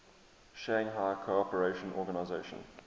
shanghai cooperation organization